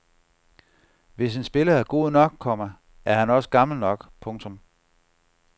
Hvis en spiller er god nok, komma er han også gammel nok. punktum